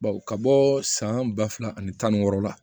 Baw ka bɔ san ba fila ani tan ni wɔɔrɔ la